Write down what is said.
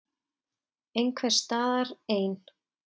Einhvers staðar ein.